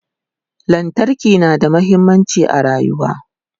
lantarki na da muhimmanci a rayuwa